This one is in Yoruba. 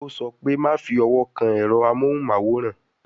Ó sọ pé "Má fi owó kan ẹ̀rọ amóhùn máwòrán